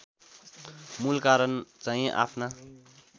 मूल कारण चाहिँ आफ्ना